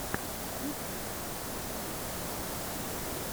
ютьюб покажи музыка